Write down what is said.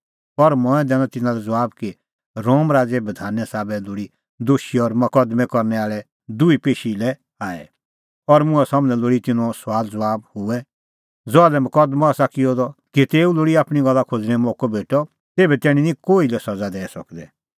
पर मंऐं दैनअ तिन्नां लै ज़बाब कि रोम राज़े बधाने साबै लोल़ी दोशी और मकदमैं करनै आल़ै दुहै पेशी लै आऐ और मुंहां सम्हनै लोल़ी तिन्नें सुआलज़बाब हुऐ ज़हा लै मकदमअ आसा किअ द तेऊ लोल़ी आपणीं गल्ला खोज़णेंओ मोक्कअ भेटअ तेभै तैणीं निं कोही लै सज़ा दैई सकदै